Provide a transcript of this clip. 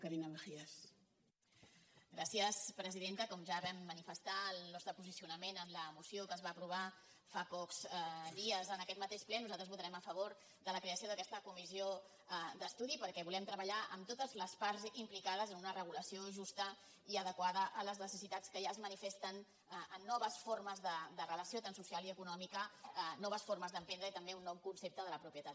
com ja ho vam manifestar el nostre posicionament en la moció que es va aprovar fa pocs dies en aquest mateix ple nosaltres votarem a favor de la creació d’aquesta comissió d’estudi perquè volem treballar amb totes les parts implicades en una regulació justa i adequada a les necessitats que ja es manifesten en noves formes de relació tant social i econòmica noves formes d’emprendre i també un nou concepte de la propietat